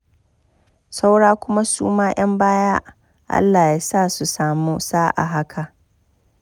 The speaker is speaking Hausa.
Saura kuma su ma 'yan baya Allah ya sa su samu sa'a haka.